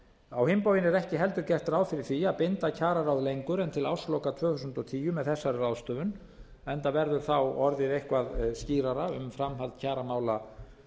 á hinn bóginn er ekki heldur gert ráð fyrir því að binda kjararáð lengur en til ársloka tvö þúsund og tíu með þessari ráðstöfun enda verður þá orðið eitthvað skýrara um framhald kjaramála